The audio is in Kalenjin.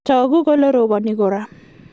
tagu kole robani karon